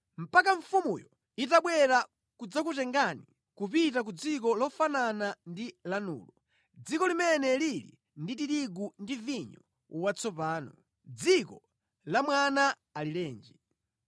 mpaka mfumuyo itabwera kudzakutengani kupita ku dziko lofanana ndi lanulo, dziko limene lili ndi tirigu ndi vinyo watsopano, dziko loyenda mkaka ndi uchi.